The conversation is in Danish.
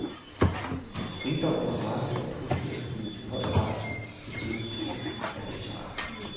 Rigdommen af racer blandt husdyr skyldes i høj grad beskyttelsen af det bizarre.